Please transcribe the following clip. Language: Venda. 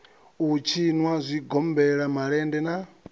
u tshinwa zwigombela malende na